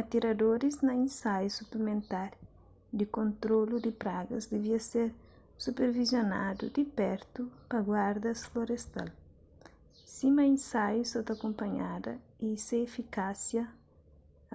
atiradoris na insaiu suplimentar di kontrolu di pragas divia ser supervisionadu di pertu pa guardas florestal sima insaiu sa ta kunpanhada y se efikásia